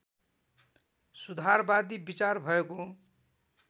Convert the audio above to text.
सुधारवादी विचार भएको